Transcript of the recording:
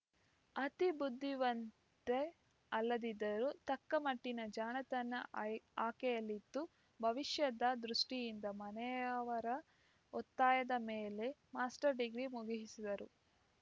ಅತಿ ಬುದ್ಧಿವಂತೆ ಅಲ್ಲದಿದ್ದರೂ ತಕ್ಕಮಟ್ಟಿನ ಜಾಣತನ ಅಯ್ ಆಕೆಯಲ್ಲಿತ್ತು ಭವಿಷ್ಯದ ದೃಷ್ಟಿಯಿಂದ ಮನೆಯವರ ಒತ್ತಾಯದ ಮೇಲೆ ಮಾಸ್ಟರ್‌ ಡಿಗ್ರಿ ಮುಗಿಯಿಸಿದಳು